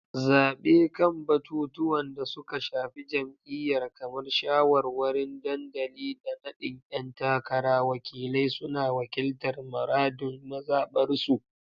Zabe kan batutuwan da suka shafi jam’iyyar, kamar shawarwarin dandali da nadin ‘yan takara, wakilai suna wakiltar muradun mazabarsu.